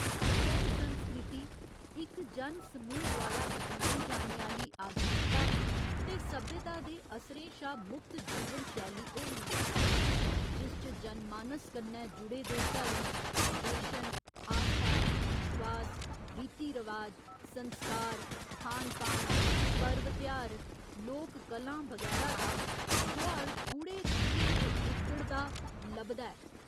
जन संस्कृति इक जन समूह द्वारा अपनाई जाने आह्‌ली आधुनिकता ते सभ्यता दे असरें शा मुक्त जीवन शैली होंदी ऐ जिस च जन मानस कन्नै जुड़े दे धर्म, दर्शन, आस्था, विश्वास, रीति रवाज, संस्कार, खान पान, पर्व तेहार, लोक कलां बगैरा दा गोहाड़ गूढ़े रंगें च उग्घड़दा लभदा ऐ।